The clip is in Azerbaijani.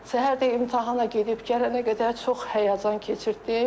Səhər də imtahana gedib gələnə qədər çox həyəcan keçirtdi.